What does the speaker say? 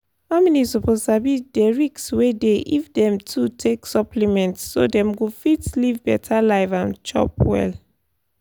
families suppose sabi dey risk wey dey if dem too take supplement so dem go fit live better life and chop well.